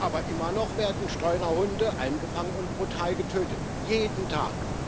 Aber immer noch werden Streunerhunde eingefangen und brutal getötet, jeden Tag.